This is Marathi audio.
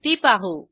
ती पाहू